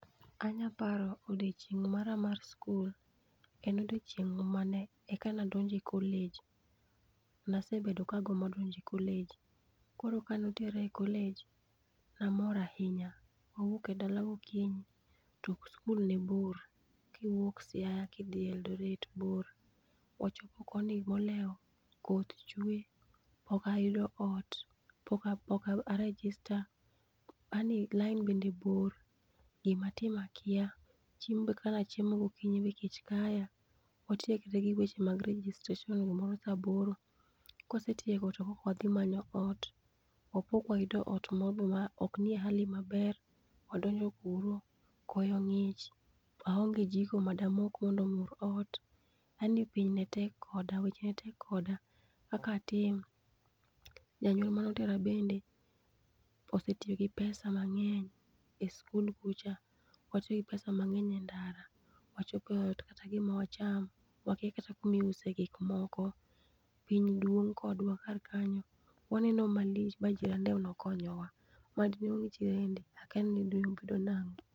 Anya paro odiechineg mara mar skul, en odiechieng ma ne eka adonjo e college ne asebedo ka agombo donjo e college koro ka ne otera e college ne amor ahinya ,ne awuok e dala go kinyi to skul ne bor. Kiwuok Siaya ki idhi Eldore bor, wachopo koni molewo koth be chwe ok ayudo ot, pok a register, aani lain bende bor gi ma atim akia chiemo be kaka ne achiemo go kinyi be kech kaya watiekre gi weche mag registration gi moro sa aboro. Kowasetieko to wadhi manyo ot wa ok ayudo ot ma ok ni e hali ma ber wadonjo kuro, koyo ngich, aonge jiko ma de moko mondo omur ot, yaani piny ne tek koda weche ne tek koda. Kaka atim, janyuol mane otera bende osetiyo gi pesa mang'eny e skuk kucho, watiyo gi pesa mang'eny e ndara, wachopo ot kata gi ma wacham, wakia kata ku ma iuse gik moko piny dwong kodwa kar kanyo ma waneno ma lich ma jirende ema ne okonyo wa ma de onge jirande akia ni dine obedio nango.